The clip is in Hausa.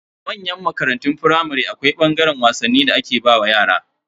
A manyan makarantun firamare, akwai ɓangaren wasanni da aka kebe wa yara.